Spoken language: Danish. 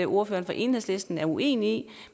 ordføreren fra enhedslisten er uenig i